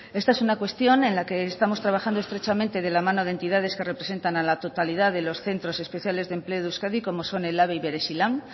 esta es una cuestión en la que estamos trabajando estrechamente de la mano de entidades que representan a la totalidad de los centros especiales de empleo de euskadi como son ehlabe y berezilan